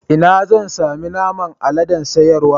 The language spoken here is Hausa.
Ina zan sami naman aladen sayarwa.